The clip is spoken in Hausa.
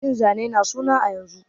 Yin zane na suna a yanzu